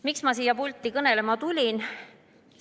Miks ma siia pulti kõnelema tulin?